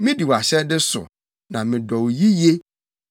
Midi wʼahyɛde so na medɔ no yiye.